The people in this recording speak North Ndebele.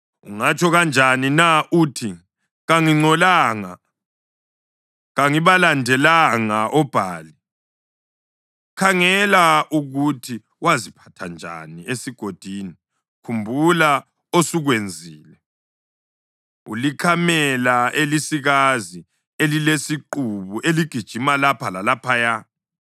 “Ungatsho kanjani na uthi, ‘Kangingcolanga, kangibalandelanga oBhali’? Khangela ukuthi waziphatha njani esigodini, khumbula osukwenzile. Ulikamela elisikazi elilesiqubu eligijima lapha lalaphaya,